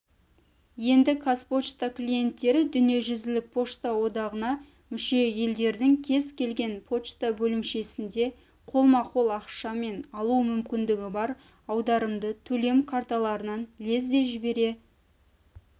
енді қазпочта клиенттері дүниежүзілік пошта одағына мүше-елдердің кез келген пошта бөлімшесінде қолма-қол ақшамен алу мүмкіндігі бар аударымды төлем карталарынан лезде жібере